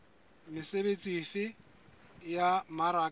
mesebetsi efe ya ho mmaraka